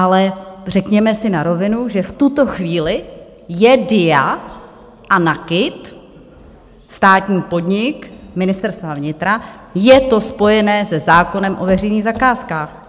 Ale řekněme si na rovinu, že v tuto chvíli je DIA a NAKIT státní podnik Ministerstva vnitra, je to spojené se zákonem o veřejných zakázkách.